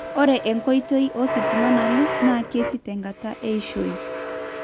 Ore enkoitoi ositima nalus naa ketii tenkata eishioi.